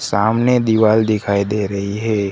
सामने दीवाल दिखाई दे रहीं हैं।